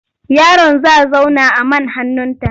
Yaron za zauna a man hannunta.